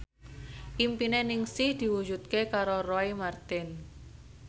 impine Ningsih diwujudke karo Roy Marten